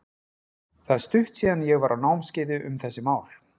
Það er stutt síðan að ég var á námskeiði um þessi mál.